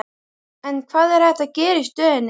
En hvað er hægt að gera í stöðunni?